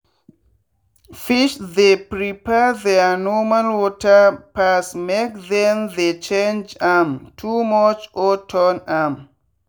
fish they prefer their normal water pass make them they change am too much or turn am.